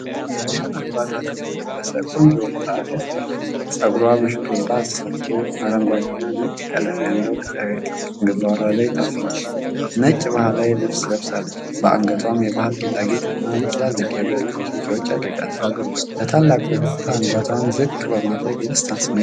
የባህል አልባሳትን የለበሰች ቆንጆ ወጣት ያሳያል። ጸጉሯ በሽሩባ ተሰርቶ፤ አረንጓዴና ነጭ ቀለም ያለው ጨርቅ ግንባሯ ላይ ታስሯል። ነጭ ባህላዊ ልብስ ለብሳለች፤ በአንገቷም የባህል ጌጣጌጥና በትልልቅ የብር ጉትቻዎች አድርጋለች። በታላቅ ፈገግታ አንገቷን ዝቅ በማድረግ የደስታ ስሜትን ታሳያለች።